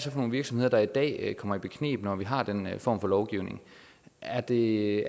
nogle virksomheder der i dag kommer i bekneb når vi har den form for lovgivning er det